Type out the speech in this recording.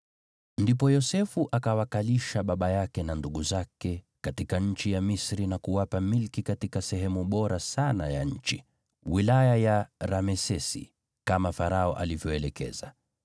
Ndipo Yosefu akawakalisha baba yake na ndugu zake katika nchi ya Misri na kuwapa milki katika sehemu bora sana ya nchi, wilaya ya Ramesesi, kama Farao alivyoelekeza.